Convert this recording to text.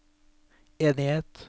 enighet